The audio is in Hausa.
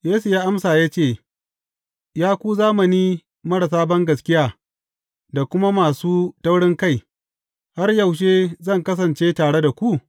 Yesu ya amsa ya ce, Ya ku zamani marasa bangaskiya da kuma masu taurinkai, har yaushe zan kasance tare da ku?